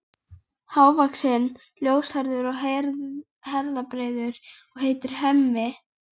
Hávaxinn, ljóshærður og herðabreiður og heitir Hemmi.